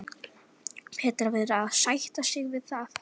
Petra verður að sætta sig við það.